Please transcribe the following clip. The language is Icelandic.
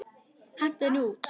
Hentu henni út!